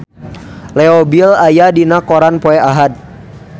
Leo Bill aya dina koran poe Ahad